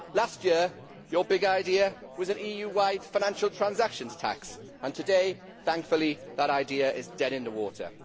Last year your big idea was an EU wide financial transactions tax, and today thankfully that idea is dead in the water.